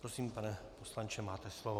Prosím, pane poslanče, máte slovo.